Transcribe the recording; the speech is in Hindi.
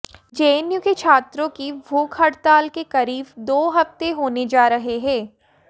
जेएनयू के छात्रों की भूख हड़ताल के करीब दो हफ्ते होने जा रहे हैं